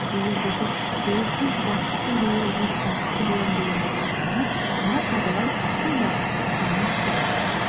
егер де сіз ойсыз бақытсыз болып жүріп бақытты боламын деген ойда болсаңыз онда қайтадан сол бақытсыздық күйіне қайтып келеміз